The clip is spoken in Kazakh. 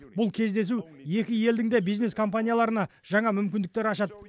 бұл кездесу екі елдің де бизнес компанияларына жаңа мүмкіндіктер ашады